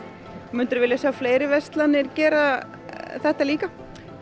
myndirðu vilja sjá fleiri verslanir gera þetta líka